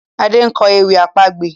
Ade nkọ ewì àpagbè.